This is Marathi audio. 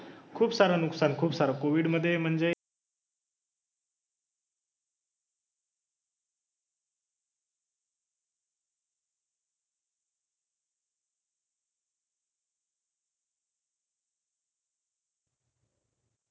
खुपसारं नुकसान खुपसारं. कोविडमध्ये म्हणजे,